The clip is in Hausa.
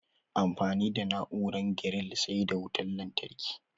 Amfani da na'uaran giril sai da wutan lantarki